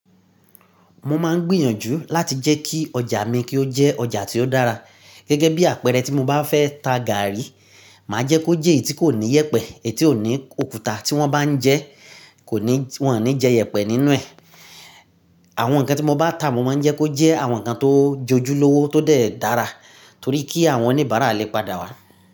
Mo máa ń gbìnyànjú láti jẹ́ kí ọjà mi kí ó jẹ́ ọjà tí ó dára. Gẹ́gẹ́ bí àpẹẹrẹ tí mo bá fẹ́ ta gààrí, màá jẹ́ kó jẹ́ èyí tí kò ní yẹpẹ, èyí tí kò ní òkúta tí wọ́n bá ń jẹ́, kò ní, wọ́n ò ní jẹ yẹpẹ nínú ẹ̀. Àwọn nǹkan tí mo bá ń tà, mo máa ń jẹ́ kó jẹ́ àwọn nǹkan tó jojúlówó, tó dẹ̀ dára torí kí àwọn oníbàárà lè padà wá.